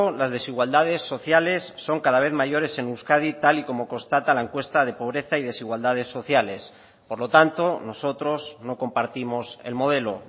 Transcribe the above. las desigualdades sociales son cada vez mayores en euskadi tal y como constata la encuesta de pobreza y desigualdades sociales por lo tanto nosotros no compartimos el modelo